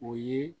O ye